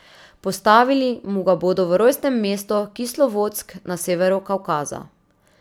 Postavili mu ga bodo v rojstnem mestu Kislovodsk na severu Kavkaza.